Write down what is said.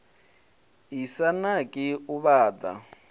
i sa naki u vhaḓa